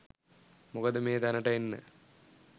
මොකද මේ තැනට එන්න